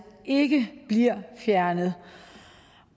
ikke bliver fjernet